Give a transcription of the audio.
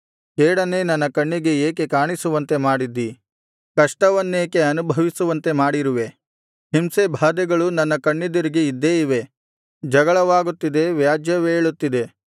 ಕೇಡನ್ನೇ ನನ್ನ ಕಣ್ಣಿಗೆ ಏಕೆ ಕಾಣಿಸುವಂತೆ ಮಾಡಿದ್ದಿ ಕಷ್ಟವನ್ನೇಕೆ ಅನುಭವಿಸುವಂತೆ ಮಾಡಿರುವೆ ಹಿಂಸೆಬಾಧೆಗಳು ನನ್ನ ಕಣ್ಣೆದುರಿಗೆ ಇದ್ದೇ ಇವೆ ಜಗಳವಾಗುತ್ತಿದೆ ವ್ಯಾಜ್ಯವೇಳುತ್ತಿದೆ